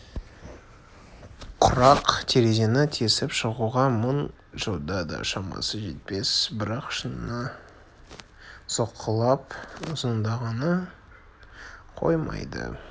құрақ терезені тесіп шығуға мың жылда да шамасы жетпес бірақ шыныны соққылап ызыңдағанын қоймайды